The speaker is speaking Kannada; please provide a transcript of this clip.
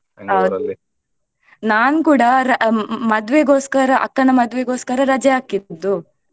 ನಾನ್ ಕೂಡ ಮದುವೆ ಗೋಸ್ಕರ ಅಕ್ಕನ ಮದುವೆ ಗೋಸ್ಕರ ರಜೆ ಹಾಕಿದ್ದು.